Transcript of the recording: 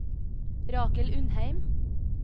Rakel Undheim